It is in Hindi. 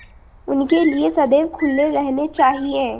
उनके लिए सदैव खुले रहने चाहिए